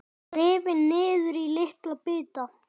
Rifin niður í litla bita.